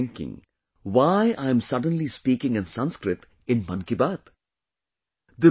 You must be thinking why I am suddenly speaking in Sanskrit in ‘Mann Ki Baat’